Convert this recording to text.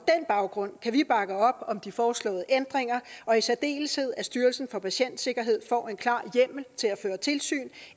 baggrund kan vi bakke op om de foreslåede ændringer og i særdeleshed at styrelsen for patientsikkerhed får en klar hjemmel til at føre tilsyn